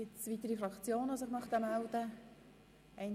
Es haben sich keine weiteren Fraktionen gemeldet.